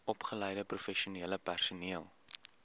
opgeleide professionele personeel